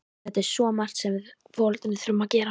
Það er svo margt sem við foreldrarnir þurfum að gera.